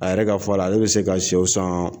A yɛrɛ ka fɔ la, ale be se ka sɛw san